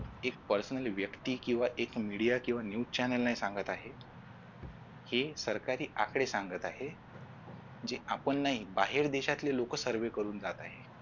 एक personally व्यक्ती किंवा एक media किंवा news channel नाही सांगत आहे हे सरकारी आकडे सांगत आहे जे आपण नाही बाहेर देशातले लोक serve करून जात आहेत